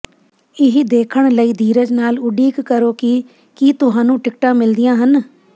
ਇਹ ਦੇਖਣ ਲਈ ਧੀਰਜ ਨਾਲ ਉਡੀਕ ਕਰੋ ਕਿ ਕੀ ਤੁਹਾਨੂੰ ਟਿਕਟਾਂ ਮਿਲਦੀਆਂ ਹਨ